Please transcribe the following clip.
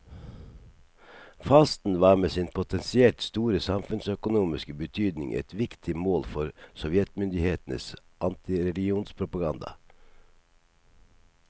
Fasten var med sin potensielt store samfunnsøkonomiske betydning et viktig mål for sovjetmyndighetenes antireligionspropaganda.